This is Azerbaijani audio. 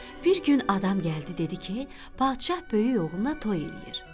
Bir gün adam gəldi dedi ki, padşah böyük oğluna toy eləyir.